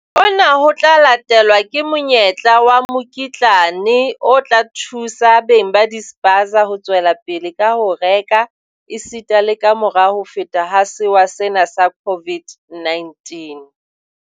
"Hona ho tla latelwa ke monyetla wa mokitlane o tla thusa beng ba dispaza ho tswelapele ka ho reka esita le kamora ho feta ha sewa sena sa COVID-19."